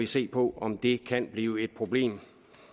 se på om det kan blive et problem